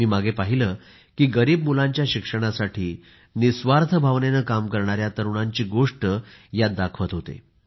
मी मागे पहिले की गरीब मुलांच्या शिक्षणासाठी निस्वार्थ भावनेने काम करणाऱ्या तरुणांची गोष्ट यात दाखवत होते